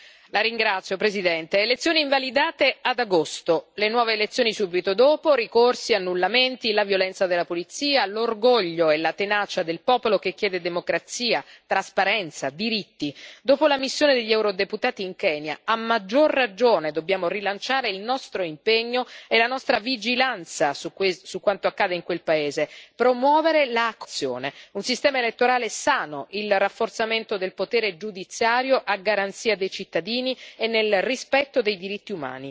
Signor Presidente, onorevoli colleghi, elezioni invalidate ad agosto, le nuove elezioni subito dopo, ricorsi e annullamenti, la violenza della polizia, l'orgoglio e la tenacia del popolo che chiede democrazia, trasparenza, diritti dopo la missione degli eurodeputati in Kenya, a maggior ragione dobbiamo rilanciare il nostro impegno e la nostra vigilanza su quanto accade in quel paese, promuovere la cooperazione, un sistema elettorale sano, il rafforzamento del potere giudiziario a garanzia dei cittadini e nel rispetto dei diritti umani.